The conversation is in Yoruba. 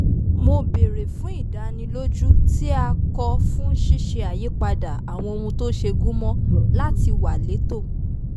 mo béèrè fún ìdánilójú tí a kọ fún ṣíṣe àyípadà àwọn ohun tó ṣe gúnmọ́ láti wà létò